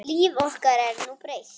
Líf okkar er nú breytt